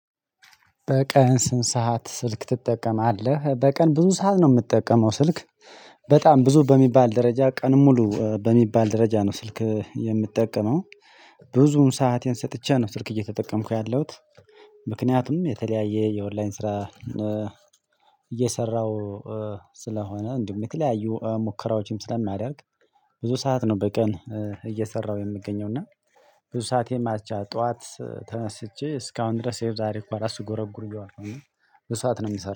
በቀን ስም ሰዓት ስልክ ትጠቀማለህ በቀን ብዙ ሰዓት ነው የምጠቀመው ስልክ በጣም ብዙ በሚባል ደረጃ ቀን ሙሉ በሚባል ደረጃ ነው ስልክ የምጠቀመው። ብዙውን ሰአቴን ሰጥቼ ነው ስልክ እየተጠቀምኩ ያለሁት። ምክንያቱም የተለያየ የኦንላይን ስራ። እየሰራሁ ስለሆነ እንዲሁ የምትለያዩ ሙከራዎችም ስለማዳርግ። ብዙ ሰዓት ነው በቀን እየሰራሁ የምገኘው። እና ብዙ ሰዓት ማለት ይቻላል ጠዋት ተነስቼ እስካሁን ድረስ ዛሬ ጠዋት ስጎረጉር በሰአት ነው የምትሰራው